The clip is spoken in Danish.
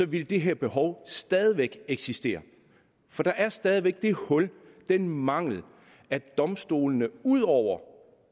ville det her behov stadig væk eksistere for der er stadig væk det hul den mangel at domstolene ikke ud over